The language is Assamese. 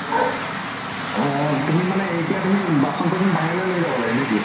অ তুমি মানে এতিয়া তুমি বাচন চাচন বাহিৰলৈ লৈ যাব লাগে নে কি?